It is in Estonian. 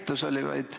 Aitäh!